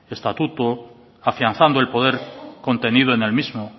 estatuto afianzando el poder contenido en el mismo